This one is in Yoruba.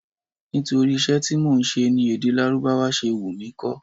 Nítorí iṣẹ́ tí mò ń ṣe ni èdè Lárúbáwá ṣe wù mí kó.